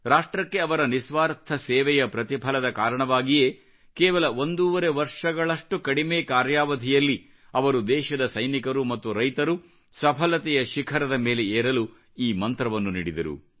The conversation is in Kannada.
ರಾಷ್ಟ್ರಕ್ಕೆ ಅವರ ನಿಸ್ವಾರ್ಥ ಸೇವೆಯ ಪ್ರತಿಫಲದ ಕಾರಣವಾಗಿಯೇ ಕೇವಲ ಒಂದೂವರೆ ವರ್ಷಗಳ ಕಡಿಮೆ ಕಾರ್ಯಾವಧಿಯಲ್ಲಿ ಅವರು ದೇಶದ ಸೈನಿಕರು ಮತ್ತು ರೈತರು ಸಫಲತೆಯ ಶಿಖರದ ಮೇಲೆ ಏರಲು ಈ ಮಂತ್ರವನ್ನು ನೀಡಿದರು